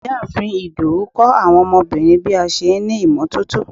ìyáàfín Ìdòwú kọ́ àwọn ọmọbìnrin bí a n ṣe ní imototo